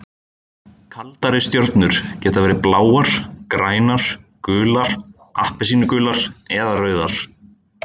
Kaldari stjörnur geta verið bláar, grænar, gular, appelsínugular eða rauðar.